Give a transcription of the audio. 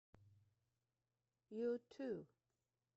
юту